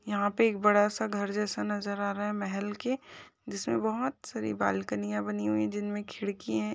यह पे एक बड़ा सा घर जैसा नजर आ रहा है महल के जिसमे बहुत सारी बाल्कनिया बनी हुई है जिनमे खिड़किये है।